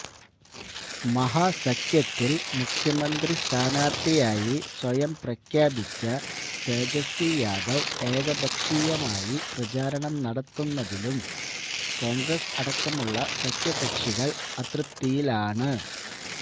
മഹാസഖ്യത്തില് മുഖ്യമന്ത്രി സ്ഥാനാര്ത്ഥിയായി സ്വയം പ്രഖ്യാപിച്ച തേജസ്വി യാദവ് ഏകപ്ഷീയമായി പ്രചാരണം നടത്തുന്നിലും കോണ്ഗ്രസ് അടക്കമുള്ള സഖ്യകക്ഷികള് അതൃപ്തിയിലാണ്